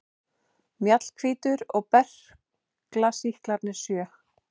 Mjallhvítur og berklasýklarnir sjö.